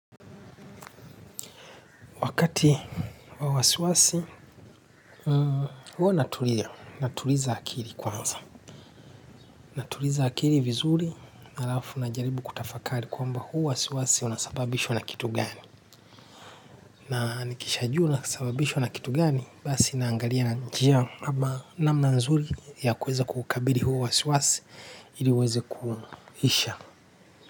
Wakati wa wasiwasi, huwa natulia, natuliza akili kwanza. Natuliza akili vizuri alafu na jaribu kutafakari kwamba huu wasiwasi unasababishwa na kitu gani. Na nikisha jua unasababishwa na kitu gani, basi naangalia na njia ama namna nzuri ya kuweza kuukabili huu wasiwasi iliuweze kuhisha.